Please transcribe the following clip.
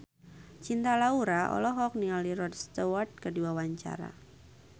Cinta Laura olohok ningali Rod Stewart keur diwawancara